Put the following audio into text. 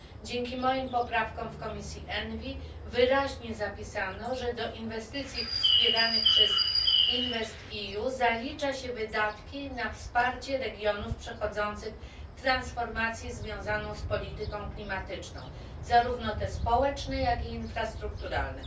Dzięki moim poprawkom w komisji ENVI wyraźnie zapisano, że do inwestycji wspieranych przez InvestEU zalicza się wydatki na wsparcie regionów przechodzących transformację związaną z polityką klimatyczną, zarówno te społeczne, jak i infrastrukturalne.